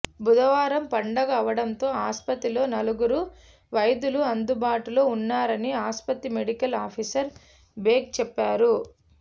బుధవారం పండగ అవడంతో ఆసుపత్రిలో నలుగురు వైద్యులు అందుబాటులో వున్నారని ఆసుపత్రి మెడికల్ ఆఫీసర్ బేగ్ చెప్పారు